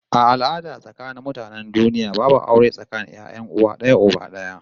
A al'adan akasarin mutanen duniya babu aure tsakanin 'ya'yan uwa d'aya uba d'aya